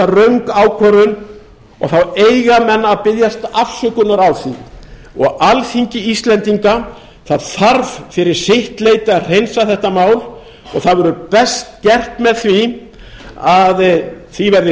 röng ákvörðun og þá eiga menn að biðjast afsökunar á því og alþingi íslendinga þarf fyrir sitt leyti að hreinsa þetta mál og það verður best gert með því að því verði